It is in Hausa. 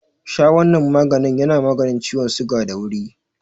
Sha wanan maganin yana maganin ciwon suga da wuri.